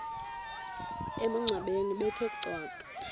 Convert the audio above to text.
emangcwabeni bethe cwaka